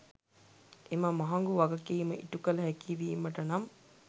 එම මහගු වගකිම ඉටුකල හැකිවිමට නම්